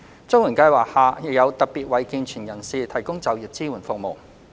綜援計劃下亦有特別為健全人士提供就業支援服務。